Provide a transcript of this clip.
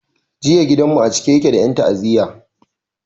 Jiya gidan mu a cike yake da en ta'aziya